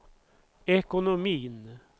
ekonomin